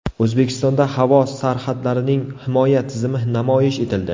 O‘zbekistonda havo sarhadlarining himoya tizimi namoyish etildi.